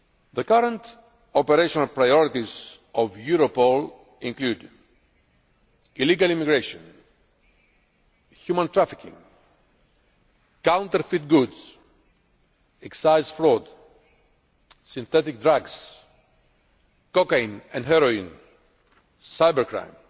The current operational priorities of Europol include illegal immigration, human trafficking, counterfeit goods, excise fraud, synthetic drugs, cocaine and heroin, cybercrime,